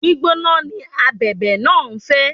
Gbígbóná ni Abẹ̀bẹ̀ náà ń fẹ́.